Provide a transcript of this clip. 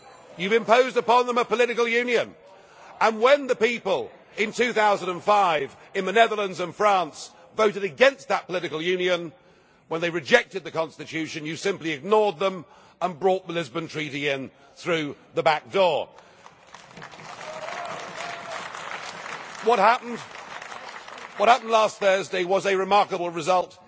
You have imposed upon them a political union, and when the people in 2005 in the Netherlands and France voted against that political union, when they rejected the Constitution, you simply ignored them and brought the Lisbon Treaty in through the back door. What happened last Thursday was a remarkable result.